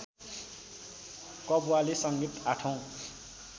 कव्वाली संगीत आठौँ